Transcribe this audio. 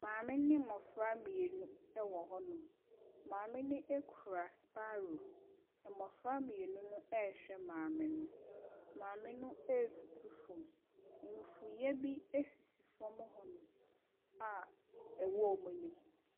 Maame ne mmɔfra mmienu wɔ hɔnom, maame no kura sparrow, mmɔfra mmienu no ɛrehwɛ maame no. Maame retutu fam, mfuiɛ bi sisi fam hɔnom a ɛwɔ wɔn anim.